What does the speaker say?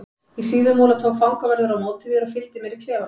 Í Síðumúla tók fangavörður á móti mér og fylgdi mér í klefa minn.